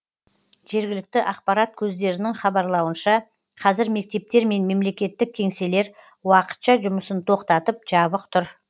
жергілікті ақпарат көздерінің хабарлауынша қазір мектептер мен мемлекеттік кеңселер уақытша жұмысын тоқтатып жабық тұр